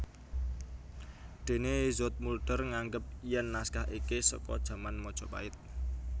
Déné Zoetmulder nganggep yen naskah iki seka jaman Majapait